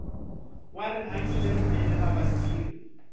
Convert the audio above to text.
wa rihanyo lerinene ra vatirhi